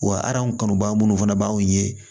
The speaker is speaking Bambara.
Wa kanu baa munnu fana b'anw ye